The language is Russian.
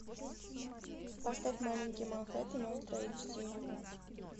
поставь маленький манхеттен ультра эйч ди